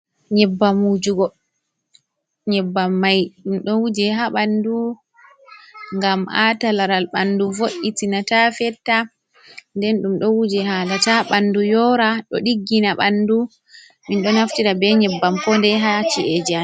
Nyebbam mai ɗum ɗo wuje ha bandu gam Ata laral bandu vo’’itina ta fetta, nden dum ɗo wuje hala ta bandu yora, do diggina bandu, min ɗo naftira be nyebbam pode ha ci’ejiamin.